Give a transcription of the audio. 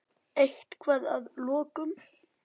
Eitthvað að lokum?